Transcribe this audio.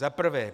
Za prvé.